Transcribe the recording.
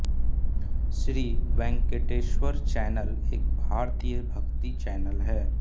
Shri Venkateshwar channel एक भारतीय भक्ति चैनल है